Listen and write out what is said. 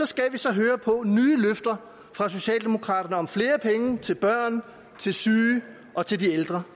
skal vi så høre på nye løfter fra socialdemokraterne om flere penge til børn til syge og til ældre